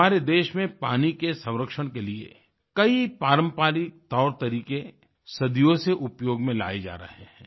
हमारे देश में पानी के संरक्षण के लिए कईपारंपरिकतौरतरीके सदियों से उपयोग में लाए जा रहे हैं